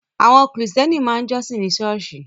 Àwọn Kristẹni máa ń jọ́sìn nínú Ṣọ́ọ̀ṣì